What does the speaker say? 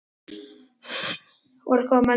Orð koma manni í koll.